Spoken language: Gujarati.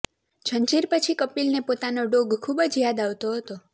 ઝંઝીર પછી કપિલને પોતાનો ડોગ ખૂબ જ યાદ આવતો હતો